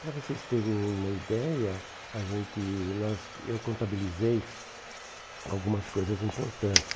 Para vocês terem uma ideia, a gente nós eu contabilizei algumas coisas importantes.